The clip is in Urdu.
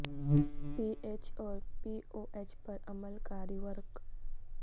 پی ایچ اور پی او ایچ پر عمل کاری ورق